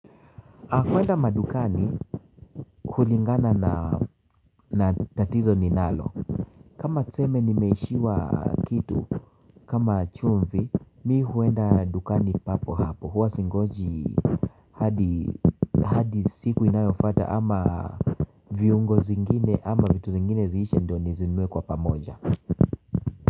Kuenda madukani hulingana na tatizo ninalo kama tseme nimeishiwa kitu kama chumvi mi huenda dukani papo hapo huwa singoji hadi siku inayofata ama viungo zingine ama vitu zingine ziishe ndo nizinue kwa pamoja.